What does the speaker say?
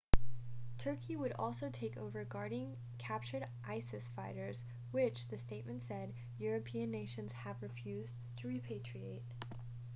turkey would also take over guarding captured isis fighters which the statement said european nations have refused to repatriate